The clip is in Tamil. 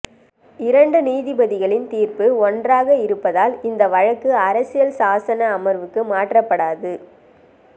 இரண்டு நீதிபதிகளின் தீர்ப்பு ஒன்றாக இருப்பதால் இந்த வழக்கு அரசியல் சாசன அமர்வுக்கு மாற்றப்படாது